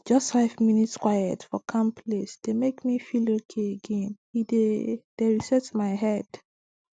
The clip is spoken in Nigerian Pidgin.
just five minute quiet for calm place dey make me feel okay againe dey dey reset my head